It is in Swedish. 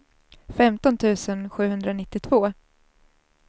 femton tusen sjuhundranittiotvå